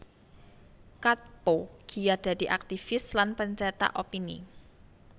Katppo giat dadi aktivis lan pencetak opini